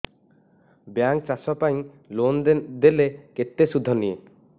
bank ଚାଷ ପାଇଁ loan ଦେଲେ କେତେ ସୁଧ ନିଏ